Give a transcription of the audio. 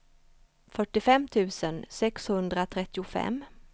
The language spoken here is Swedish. fyrtiofem tusen sexhundratrettiofem